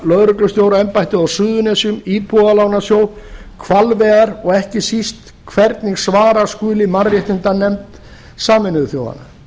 lögreglustjóraembættið á suðurnesjum íbúðalánasjóð hvalveiðar og ekki síst hvernig svara skuli mannréttindanefnd sameinuðu þjóðanna